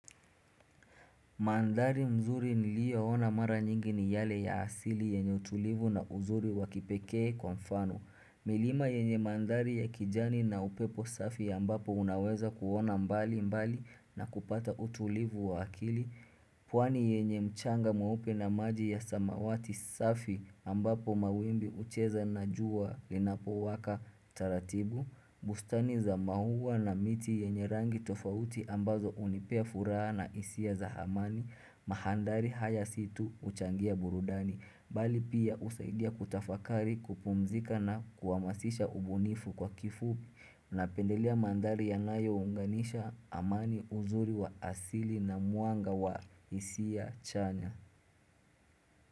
Mandhari mzuri nilio ona mara nyingi ni yale ya asili yenye utulivu na uzuri wakipekee kwa mfano. Milima yenye mandhari ya kijani na upepo safi ya ambapo unaweza kuona mbali mbali na kupata utulivu wa akili. Pwani yenye mchanga mweupe na maji ya samawati safi ambapo mawimbi hucheza na jua linapo waka taratibu. Mahandari haya situ uchangia burudani Bali pia usaidia kutafakari kupumzika na kuamasisha ubunifu kwa kifu. Na pendelea mandhari yanayo unganisha amani uzuri wa asili na muanga wa hisia chanya.